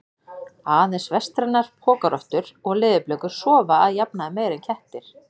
Aðeins vestrænar pokarottur og leðurblökur sofa að jafnaði meira en kettir.